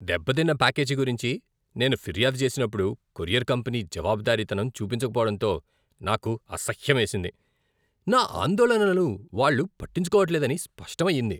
దెబ్బతిన్న ప్యాకేజీ గురించి నేను ఫిర్యాదు చేసినప్పుడు కొరియర్ కంపెనీ జవాబుదారీతనం చూపించకపోవడంతో నాకు అసహ్యమేసింది. నా ఆందోళనలను వాళ్ళు పట్టించుకోవట్లేదని స్పష్టమయ్యింది.